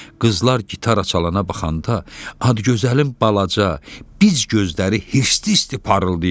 Qızlar gitara çalanə baxanda Adgözəlin balaca, biz gözləri hirsli-hirsli parıldayırdı.